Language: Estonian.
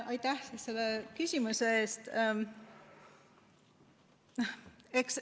Aitäh, selle küsimuse eest!